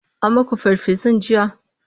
an maku farfesun jiya?